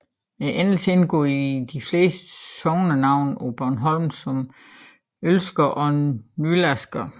Endelsen indgår i de fleste sognenavne på Bornholm som Olsker og Nylarsker